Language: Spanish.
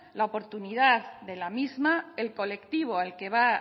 la oportunidad de la misma el colectivo al que va